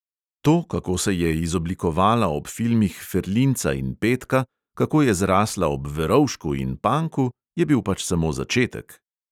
To, kako se je izoblikovala ob filmih ferlinca in petka, kako je zrasla ob verovšku in panku, je bil pač samo začetek.